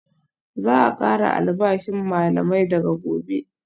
Za a kara albashin malamai daga Gobe